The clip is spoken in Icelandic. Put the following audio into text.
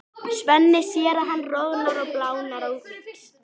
Svenni sér að hann roðnar og blánar á víxl.